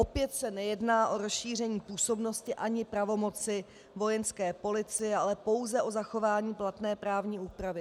Opět se nejedná o rozšíření působnosti ani pravomoci Vojenské policie, ale pouze o zachování platné právní úpravy.